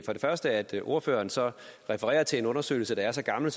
første at ordføreren så refererer til en undersøgelse der er så gammel